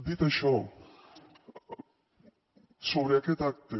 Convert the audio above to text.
dit això sobre aquest acte